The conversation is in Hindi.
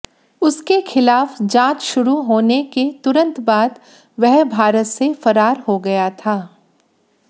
उसके खिलाफ जांच शुरू होने के तुरंत बाद वह भारत से फरार हो गया था